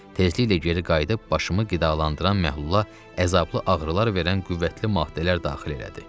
Tezliklə geri qayıdıb başımı qidalandıran məhlula əzablı ağrılar verən qüvvətli maddələr daxil elədi.